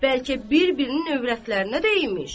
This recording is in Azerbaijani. bəlkə bir-birinin övrətlərinə də imiş.